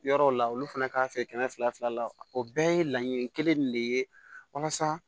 Yɔrɔw la olu fana k'a fɛ kɛmɛ fila fila la o bɛɛ ye laɲini kelen de ye walasa